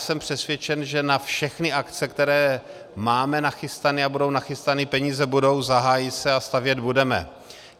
Jsem přesvědčen, že na všechny akce, které máme nachystané, a budou nachystané peníze, budou, zahájí se a stavět budeme.